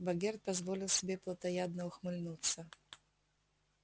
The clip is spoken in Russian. богерт позволил себе плотоядно ухмыльнуться